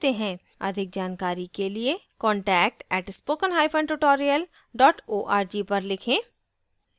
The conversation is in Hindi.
अधिक जानकारी के लिए contact @spoken hyphen tutorial dot org पर लिखें